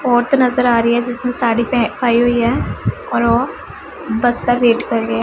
ਔਰਤ ਨਜ਼ਰ ਆ ਰਹੀ ਐ ਜਿਸਨੇ ਸਾੜੀ ਪਹਿ ਪਾਈ ਹੋਈ ਐ ਔਰ ਵੋ ਬਸ ਦਾ ਵੇਟ ਕਰ ਰਹੀ ਐ।